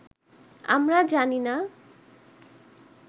আমরা জানি না